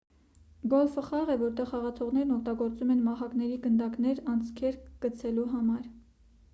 գոլֆը խաղ է որտեղ խաղացողներն օգտագործում են մահակներ գնդակներն անցքերը գցելու համար